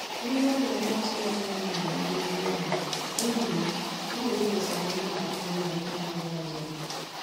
Ndị ọbịa a na-atụghị anya ya nọrọ ogologo oge, n'ihi ya, anyị wepụtara nri mgbakwunye na ihe ọṅụṅụ ọzọ